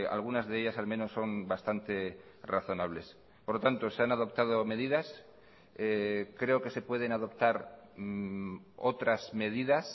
algunas de ellas al menos son bastante razonables por lo tanto se han adoptado medidas creo que se pueden adoptar otras medidas